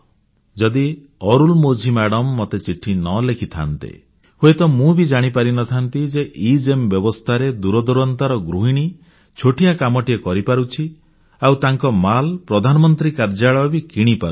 ଯଦି ଅରୁଲମୋଝି ମାଡ଼ାମ୍ ମୋତେ ଚିଠି ଲେଖିନଥାନ୍ତେ ହୁଏତ ମୁଁ ବି ଜାଣିପାରି ନଥାନ୍ତି ଯେ ଏଗେମ୍ ବ୍ୟବସ୍ଥାରେ ଦୂରଦୂରାନ୍ତର ଗୃହିଣୀ ଛୋଟିଆ କାମଟିଏ କରିପାରୁଛି ଆଉ ତାଙ୍କ ମାଲ ପ୍ରଧାନମନ୍ତ୍ରୀ କାର୍ଯ୍ୟାଳୟ ବି କିଣିପାରୁଛି